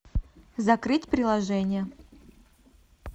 закрыть приложение